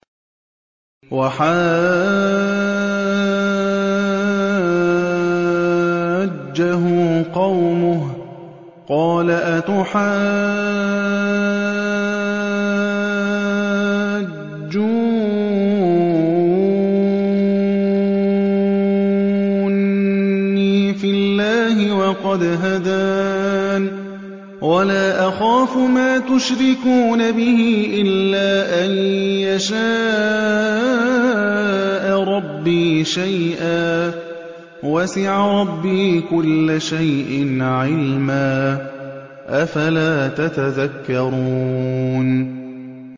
وَحَاجَّهُ قَوْمُهُ ۚ قَالَ أَتُحَاجُّونِّي فِي اللَّهِ وَقَدْ هَدَانِ ۚ وَلَا أَخَافُ مَا تُشْرِكُونَ بِهِ إِلَّا أَن يَشَاءَ رَبِّي شَيْئًا ۗ وَسِعَ رَبِّي كُلَّ شَيْءٍ عِلْمًا ۗ أَفَلَا تَتَذَكَّرُونَ